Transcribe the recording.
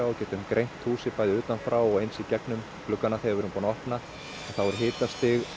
og getum greint húsið bæði utan frá og gegnum gluggana þegar við erum búin að opna þá er hitinn